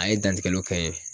A ye dantigɛliw kɛ n ye